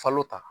Falo ta